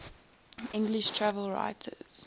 english travel writers